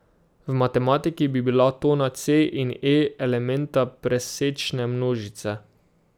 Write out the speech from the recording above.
V matematiki bi bila tona c in e elementa presečne množice.